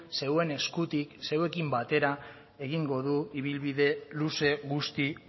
zeuen eskutik zeuekin batera egingo du ibilbide luze guzti